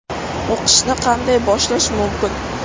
O‘qishni qanday boshlash mumkin?